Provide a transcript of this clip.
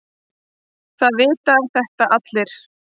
Það vita þetta allir.